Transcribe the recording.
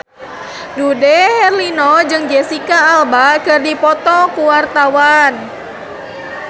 Dude Herlino jeung Jesicca Alba keur dipoto ku wartawan